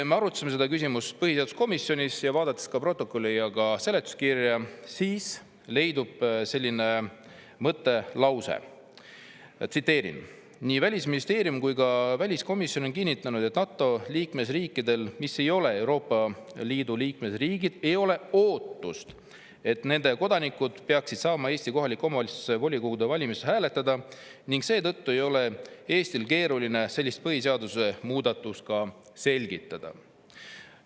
Me arutasime seda küsimust põhiseaduskomisjonis ning ka protokollis ja seletuskirjas leidub selline lause: "Nii Välisministeerium kui ka väliskomisjon on kinnitanud, et NATO liikmesriikidel, mis ei ole EL-i liikmesriigid, ei ole ootust, et nende kodanikud peaksid saama Eesti kohaliku omavalitsuse volikogude valimistel hääletada ning seetõttu ei ole Eestil keeruline sellist põhiseaduse muudatust selgitada.